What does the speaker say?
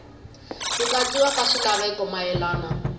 ku katsiwa ka swilaveko mayelana